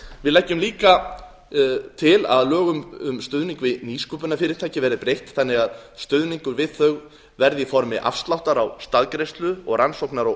við leggjum líka til að lögum um stuðning við nýsköpunarfyrirtæki verði breytt þannig að stuðningur við þau verði í formi afsláttar á staðgreiðslu og rannsóknar og